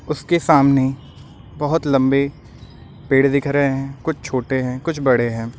उसके सामने बोहोत लंबे पेड़ दिख रहे हैं। कुछ छोटे हैं कुछ बड़े हैं।